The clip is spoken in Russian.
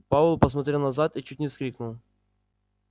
пауэлл посмотрел назад и чуть не вскрикнул